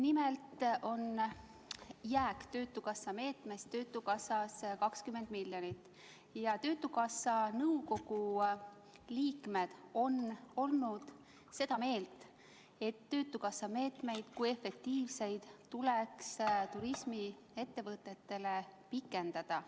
Nimelt on jääk töötukassa meetmest töötukassas 20 miljonit ja töötukassa nõukogu liikmed on olnud seda meelt, et töötukassa meetmeid kui efektiivseid meetmeid tuleks turismiettevõtetele pikendada.